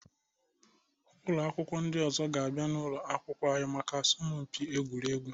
Ụlọ akwụkwọ ndị ọzọ ga-abịa n'ụlọ akwụkwọ anyị maka asọmpi egwuregwu.